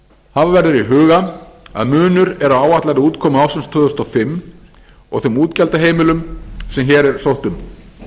hafa verður í huga að munur er á áætlaðri útkomu ársins tvö þúsund og fimm og þeim útgjaldaheimildum sem hér er sótt um